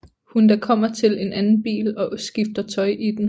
Hun da kommer til en anden bil og skifter tøj i den